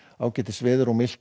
ágætis veður og milt